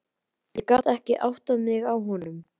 Ég gat ekki áttað mig á honum.